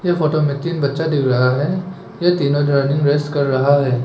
यह फोटो में तीन बच्चा दिख रहा है ये तीनों रनिंग रेस कर रहा है।